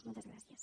moltes gràcies